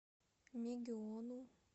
мегиону